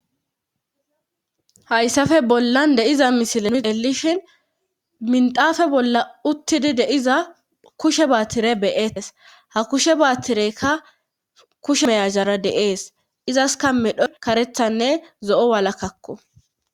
Hayssafe bollan deiza misilani delishhin mindafe bolla uttidi deiza kushe baattire beees hakushe baattireykka kushe meyazjara deees izaska medho karethanne zo'o walakkakko.